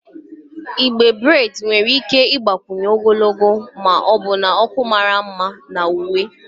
Igbe breds nwere ike ịgbakwunye ogologo na ọbụna ọkụ mara mma na uwe.